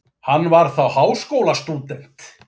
Hann var þá háskólastúdent